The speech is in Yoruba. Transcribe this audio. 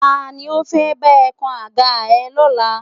Ta ni ó fẹ́ bá ẹ kan àga ẹ lọ́la?